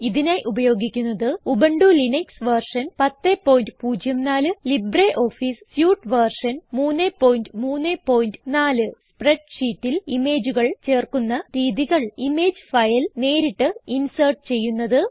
ഇതിനായി ഉപയോഗിക്കുന്നത് Ubuntu Linux version 1004 LibreOffice suite version 334 സ്പ്രെഡ്ഷീറ്റിൽ ഇമേജുകൾ ചേർക്കുന്ന രീതികൾ ഇമേജ് ഫയൽ നേരിട്ട് ഇൻസേർട്ട് ചെയ്യുന്നത്